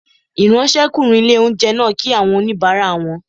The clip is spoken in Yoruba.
Ìráńṣẹ́kùnrin ilé-oúnjẹ náà kí àwọn oníbàárà wọn